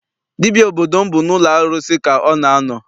Dibịa obodo m bụ n'ụlọ arụsị ka ọ na a nọ.